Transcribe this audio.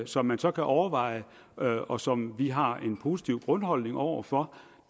som man så kan overveje og og som vi har en positiv grundholdning over for